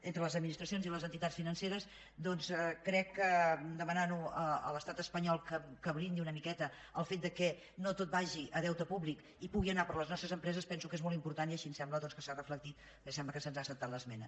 entre les administracions i les entitats financeres doncs crec que demanar a l’estat espanyol que blindi una miqueta el fet que no tot vagi a deute públic i pugui anar per a les nostres empreses penso que és molt important i així em sembla doncs que s’ha reflectit perquè sembla que se’ns ha acceptat l’esmena